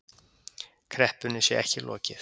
Kreppunni sé ekki lokið